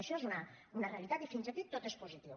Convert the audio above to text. això és una realitat i fins aquí tot és positiu